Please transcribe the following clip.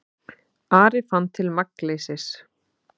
Ari fann til magnleysis.